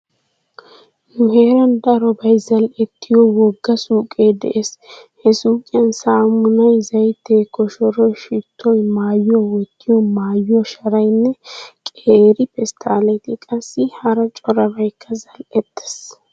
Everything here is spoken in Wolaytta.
Nu heeran darobay zal"ettiyo wogga suuqee de'ees. He suuqiyan saamunay, zaytee koshoroy, shittoy, maayuwa wottiyo maayuwa sharaynne qeeri pesttaalee qassi hara corbaykka zal"ettees.